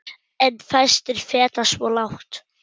En fæstir feta svo langt.